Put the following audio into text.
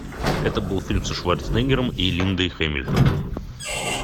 это был фильм со шварценеггером и линдой хэмилтон